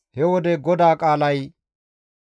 He wode GODAA qaalay,